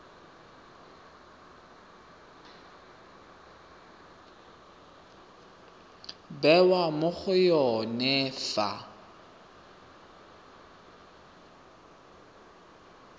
bewa mo go yone fa